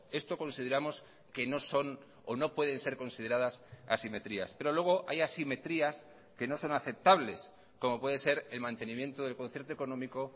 esto consideramos que no son o no pueden ser consideradas asimetrías pero luego hay asimetrías que no son aceptables como puede ser el mantenimiento del concierto económico